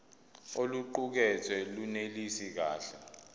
oluqukethwe lunelisi kahle